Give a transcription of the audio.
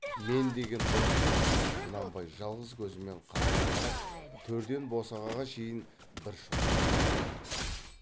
мен деген дос деп құнанбай жалғыз көзімен қадала қарап төрден босағаға шейін бір шолып шықты